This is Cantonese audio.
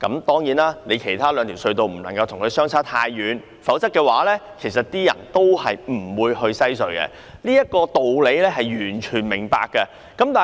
當然，其他兩條隧道的收費不能跟西隧相差太遠，否則市民仍然不會使用西隧，我完全明白這道理。